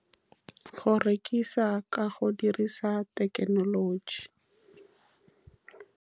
Go rekisa ka go dirisa thekenoloji.